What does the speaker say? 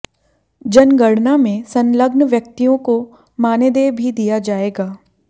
जनगणना में संलग्न व्यक्तियों को मानदेय भी दिया जाएगा